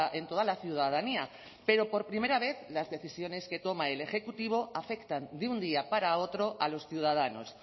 en toda la ciudadanía pero por primera vez las decisiones que toma el ejecutivo afectan de un día para otro a los ciudadanos